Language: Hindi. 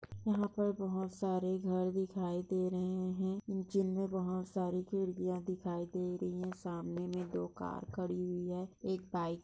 यहाँ पर बहुत सारे घर दिखाई दे रहे है। जिनमें बहुत साड़ी खिड़कियाँ दिखाई दे रही है सामने में दो कार खड़ी हुई है एक बाइक --